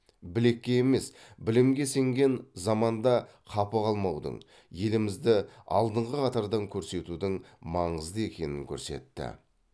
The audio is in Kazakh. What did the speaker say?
білекке емес білімге сенген заманда қапы қалмаудың елімізді алдыңғы қатардан көрсетудің маңызды екенін көрсетті